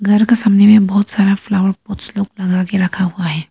घर के सामने में बहुत सारा फ्लावर पॉट्स लोग लगा के रखा हुआ है।